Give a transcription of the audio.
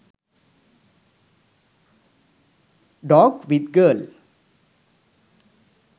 dog with girl